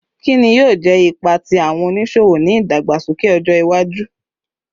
Kini yoo jẹ ipa ti awọn oniṣowo ni idagbasoke ọja iwaju?